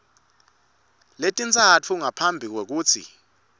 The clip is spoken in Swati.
letintsatfu ngaphambi kwekutsi